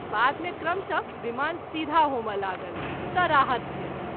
बाद मे क्रमश: विमान सीधा होमय लागल त’ राहत भेल।